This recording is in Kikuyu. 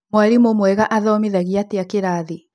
Mwarimũmwega athomithagia atĩa kĩrathiĩ?